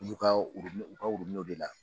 Ulu ka orobinɛ u ka orobinɛw de la.